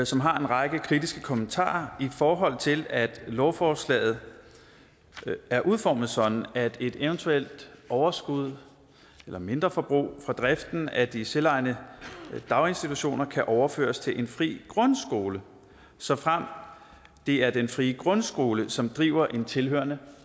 som har en række kritiske kommentarer i forhold til at lovforslaget er udformet sådan at et eventuelt overskud eller mindre forbrug fra driften af de selvejende daginstitutioner kan overføres til en fri grundskole såfremt det er den fri grundskole som driver en tilhørende